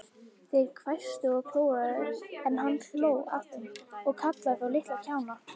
Þeir hvæstu og klóruðu, en hann hló að þeim og kallaði þá litla kjána.